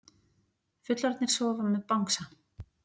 Fullorðnir sofa með bangsa